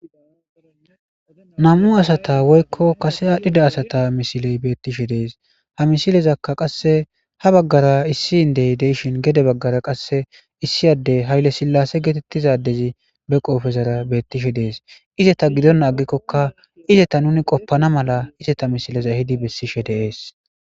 nam7u asata woykko kase aadhdhida asata misiley beettishe dees ha misilezakka qasse ha baggara issi indey deishin gede baggara qasse issiyadey hayle sillase geetettizadezi be qoofezara beettishe dees izeta gidon aggikkokka izeta nuni qoppana mala izeta misileza hidi bessishe deees